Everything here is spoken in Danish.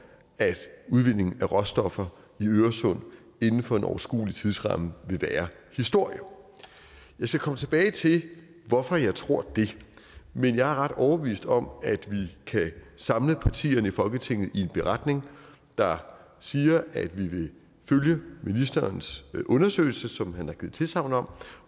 at udvinding af råstoffer i øresund inden for en overskuelig tidsramme vil være historie jeg skal komme tilbage til hvorfor jeg tror det men jeg er ret overbevist om at vi kan samle partierne i folketinget i en beretning der siger at vi vil følge ministerens undersøgelse som han har givet tilsagn om